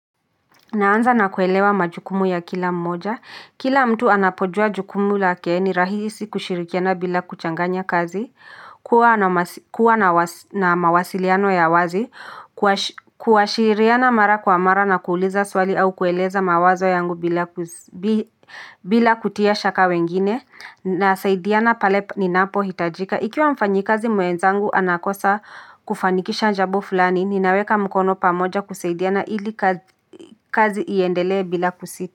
Naanza na kuelewa majukumu ya kila mmoja, kila mtu anapojua jukumu lake ni rahisi kushirikiana bila kuchanganya kazi, kuwa na mawasiliano ya wazi, kuwashiriana mara kwa mara na kuuliza swali au kueleza mawazo yangu bila kutia shaka wengine, na saidiana pale ninapo hitajika. Ikiwa mfanyi kazi mwenzangu anakosa kufanikisha njabo fulani, ninaweka mkono pamoja kusaidiana ili kazi iendelee bila kusita.